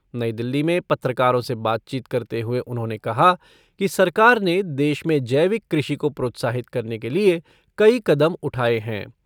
नई दिल्ली में पत्रकारों से बातचीत करते हुए उन्होंने कहा कि सरकार ने देश में जैविक कृषि को प्रोत्साहित करने के लिए कई कदम उठाए हैं।